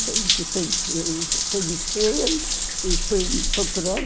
E conheci conhecia ele e veio me procurar.